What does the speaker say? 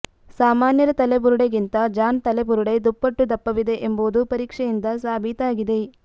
ಸಾಮಾನ್ಯರ ತಲೆ ಬುರುಡೆಗಿಂತ ಜಾನ್ ತಲೆ ಬುರುಡೆ ದುಪ್ಪಟ್ಟು ದಪ್ಪವಿದೆ ಎಂಬುದು ಪರೀಕ್ಷೆಯಿಂದ ಸಾಬೀತಾಗಿದೆ